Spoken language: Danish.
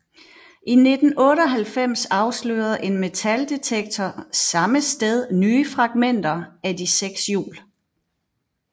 I 1998 afslørede en metaldetektor samme sted nye fragmenter af de seks hjul